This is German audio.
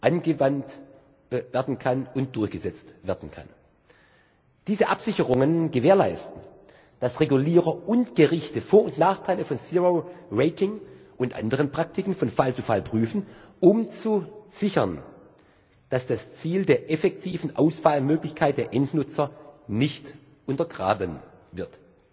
angewandt und durchgesetzt werden kann. Diese Absicherungen gewährleisten, dass Regulierer und Gerichte Vor und Nachteile von Zero Rating und anderen Praktiken von Fall zu Fall prüfen, um zu sichern, dass das Ziel der effektiven Auswahlmöglichkeit der Endnutzer nicht untergraben wird.